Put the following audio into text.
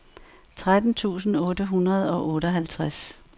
tretten tusind otte hundrede og otteoghalvtreds